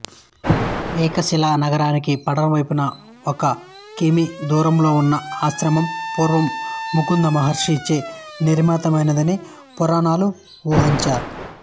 ఏకశిలానగరానికి పడమరవైపున ఒక కి మీ దూరంలో ఉన్న ఈ ఆశ్రమం పూర్వం మృకుందమహర్షి చే నిర్మితమైనదని పురాణాల ఉవాచ